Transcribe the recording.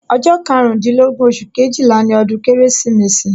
Ọjọ́ karundinlogbon oṣù Kejìlá ni ọdún Kérésìmesì